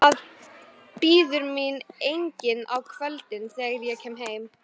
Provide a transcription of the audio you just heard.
Það bíður mín enginn á kvöldin, þegar ég kem heim.